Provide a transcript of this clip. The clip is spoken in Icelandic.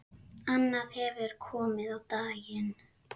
Annað hefur komið á daginn.